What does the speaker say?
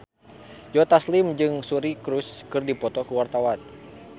Joe Taslim jeung Suri Cruise keur dipoto ku wartawan